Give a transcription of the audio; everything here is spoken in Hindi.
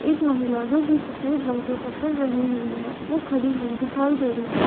एक महिला जो कि सफ़ेद रंग के कपडे पहनी हुवी है वो खड़ी हुवी दिखाई दे रही है।